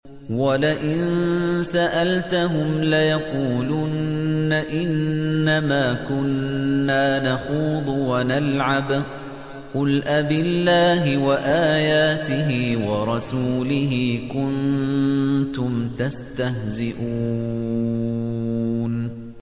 وَلَئِن سَأَلْتَهُمْ لَيَقُولُنَّ إِنَّمَا كُنَّا نَخُوضُ وَنَلْعَبُ ۚ قُلْ أَبِاللَّهِ وَآيَاتِهِ وَرَسُولِهِ كُنتُمْ تَسْتَهْزِئُونَ